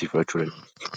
fudhachuu dandeenya.